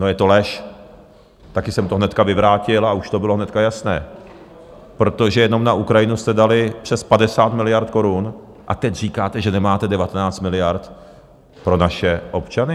No je to lež, taky jsem to hnedka vyvrátil a už to bylo hned jasné, protože jenom na Ukrajinu jste dali přes 50 miliard korun, a teď říkáte, že nemáte 19 miliard pro naše občany?